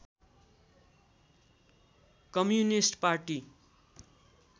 communist party